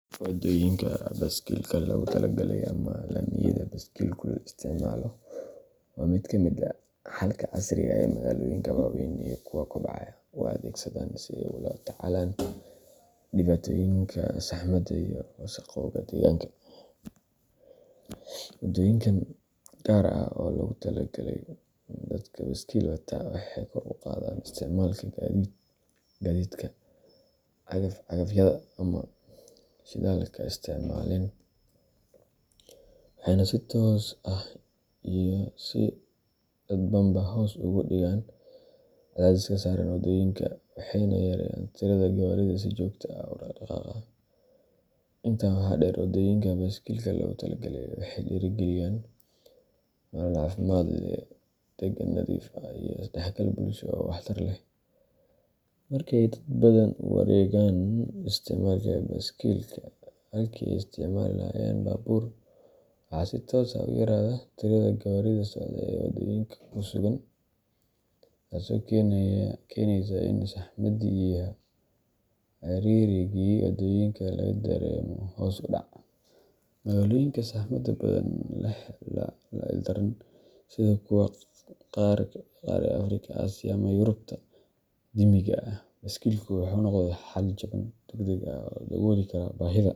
Waddooyinka baaskiilka loogu talagalay ama laamiyada baaskiilku isticmaalo waa mid ka mid ah xalka casriga ah ee magaalooyinka waaweyn iyo kuwa kobcaya u adeegsadaan si ay ula tacaalaan dhibaatooyinka saxmadda iyo wasakhowga deegaanka. Waddooyinkan gaar ah oo loogu talagalay dadka baaskiil wata waxay kor u qaadaan isticmaalka gaadiidka cagaf-cagafyada aan shidaalka isticmaaleen, waxayna si toos ah iyo si dadbanba hoos ugu dhigaan cadaadiska saaran waddooyinka, waxayna yareeyaan tirada gawaarida si joogto ah u dhaqdhaqaaqa. Intaa waxaa dheer, waddooyinka baaskiilka loogu talagalay waxay dhiirrigeliyaan nolol caafimaad leh, deegaan nadiif ah, iyo isdhexgal bulsho oo waxtar leh. Marka ay dad badan u wareegaan isticmaalka baaskiilka halkii ay isticmaali lahaayeen baabuur, waxaa si toos ah u yaraada tirada gawaarida socda ee waddooyinka ku sugan, taasoo keenaysa in saxmaddii iyo ciriirigii wadooyinka laga dareemo hoos u dhac. Magaalooyinka saxmadda ba'an la ildaran sida kuwa qaar ee Afrika, Aasiya, ama Yurubta qadiimiga ah, baaskiilku wuxuu noqday xal jaban, degdeg ah oo dabooli kara baahida.